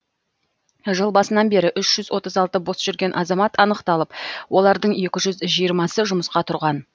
жыл басынан бері үш жүз отыз алты бос жүрген азамат анықталып олардың екі жүз жиырмасы жұмысқа тұрған